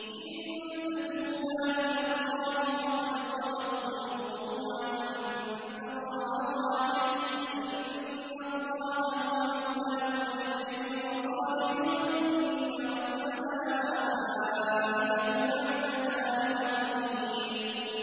إِن تَتُوبَا إِلَى اللَّهِ فَقَدْ صَغَتْ قُلُوبُكُمَا ۖ وَإِن تَظَاهَرَا عَلَيْهِ فَإِنَّ اللَّهَ هُوَ مَوْلَاهُ وَجِبْرِيلُ وَصَالِحُ الْمُؤْمِنِينَ ۖ وَالْمَلَائِكَةُ بَعْدَ ذَٰلِكَ ظَهِيرٌ